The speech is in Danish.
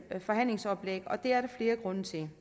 forhandlingsoplæg og det er der flere grunde til